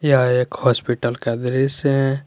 यह एक हॉस्पिटल का दृश्य है।